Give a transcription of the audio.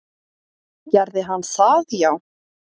Gerði hann það já?